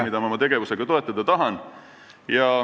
... mida ma oma tegevusega toetada tahan.